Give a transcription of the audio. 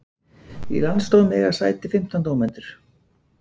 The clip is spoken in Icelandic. Í landsdómi eiga sæti fimmtán dómendur